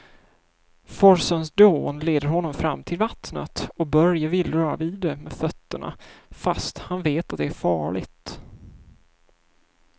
Forsens dån leder honom fram till vattnet och Börje vill röra vid det med fötterna, fast han vet att det är farligt.